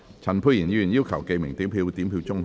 陳沛然議員要求點名表決。